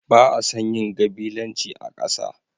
Ba a son yin gabilanci a ƙasa.